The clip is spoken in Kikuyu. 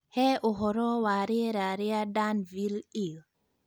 He ũhoro wa rĩera rĩa Danville il